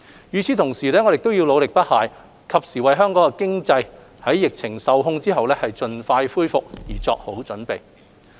與此同時，我們要努力不懈，及時為香港經濟在疫情受控後盡快恢復作好準備。